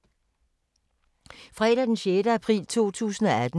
Fredag d. 6. april 2018